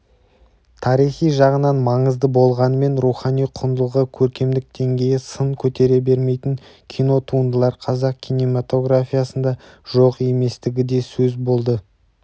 тарихи жағынан маңызды болғанымен рухани құндылығы көркемдік деңгейі сын көтере бермейтін кинотуындылар қазақ кинематографиясында жоқ еместігі де сөз болды